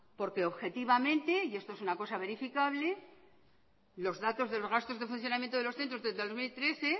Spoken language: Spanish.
porque objetivamente y esto es una cosa verificable los datos de los gastos de funcionamiento de los centros desde el dos mil trece